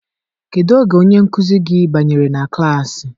Kedu oge onye nkuzi gị banyere na klassị?